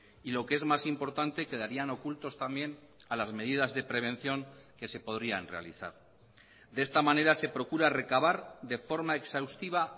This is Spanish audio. y lo que es más importante quedarían ocultos también a las medidas de prevención que se podrían realizar de esta manera se procura recabar de forma exhaustiva